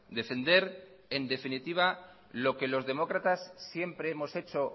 defender en definitiva lo que los demócratas siempre hemos hecho